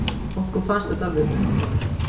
Okkur fannst þetta alveg undravert.